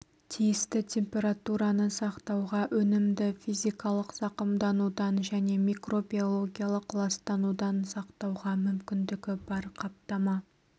тиісті температураны сақтауға өнімді физикалық зақымданудан және микробиологиялық ластанудан сақтауға мүмкіндігі бар қаптама